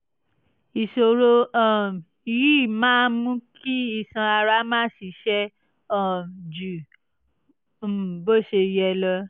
ìṣòro um yìí máa ń mú kí iṣan ara máa ṣiṣẹ́ um ju um bó ṣe yẹ lọ